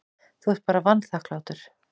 Þú ert bara vanþakklát.